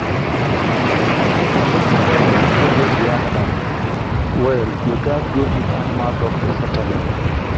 if native medicine no help di animal well you gats go meet animal doctor sharperly.